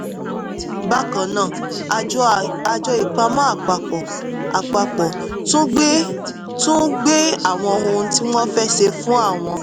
bákan náà àjọ ìpamọ́ àpapọ̀ àpapọ̀ tún gbé tún gbé àwọn ohun tí wọ́n fẹ́ ṣe fún àwọn